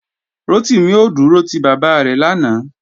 Rotimi ò dúró ti bàbá rẹ̀ lánàá